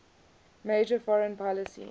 major foreign policy